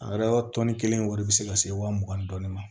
A yɛrɛ tɔnni kelen wari bɛ se ka se wa mugan ni dɔɔnin ma